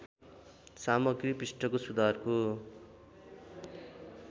सामग्री पृष्ठको सुधारको